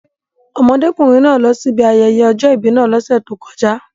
Ọmọdékùnrin náà lọsí ibi ayẹyẹ ọjọ́ ìbí náà lọ́sẹ̀ tó kọjá.